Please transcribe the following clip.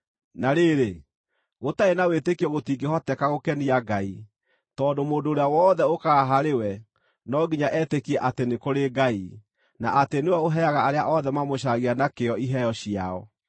Na rĩrĩ, gũtarĩ na wĩtĩkio gũtingĩhoteka gũkenia Ngai, tondũ mũndũ ũrĩa wothe ũũkaga harĩ we no nginya etĩkie atĩ nĩ kũrĩ Ngai, na atĩ nĩwe ũheaga arĩa othe mamũcaragia na kĩyo iheo ciao.